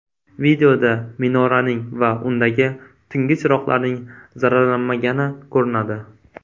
Videoda minoraning va undagi tungi chiroqlarning zararlanmagani ko‘rinadi.